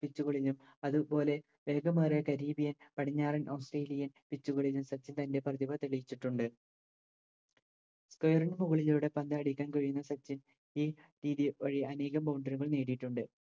Pitch കളിലും അത് പോലെ വേഗമേറിയ Caribbean പടിഞ്ഞാറൻ ഓസ്‌ട്രേലിയേം Pitch ലും സച്ചിൻ തൻറെ പ്രതിഭ തെളിയിച്ചിട്ടുണ്ട് മുകളിലൂടെ പന്ത് അടിക്കാൻ കഴിഞ്ഞ സച്ചിൻ ഈ രീതി വഴി അനേകം Boundary കൾ നേടിയിട്ടുണ്ട്